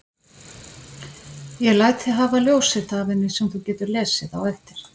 Ég læt þig hafa ljósrit af henni sem þú getur lesið á eftir.